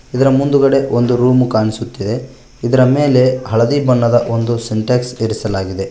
ಇದರ ಮುಂದುಗಡೆ ಒಂದು ರೂಮ್ ಕಾಣಿಸುತ್ತಿದೆ ಇದರ ಮೇಲೆ ಒಂದು ಹಳದಿ ಬಣ್ಣದ ಒಂದು ಸಿಂಟ್ಯಾಕ್ಸ್ ಇರಿಸಲಾಗಿದೆ.